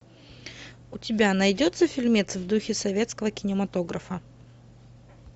у тебя найдется фильмец в духе советского кинематографа